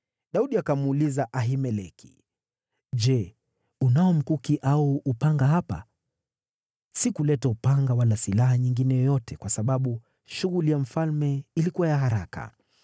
Daudi akamuuliza Ahimeleki, “Je, unao mkuki au upanga hapa? Sikuleta upanga wala silaha nyingine yoyote, kwa sababu shughuli ya mfalme ilikuwa ya haraka.”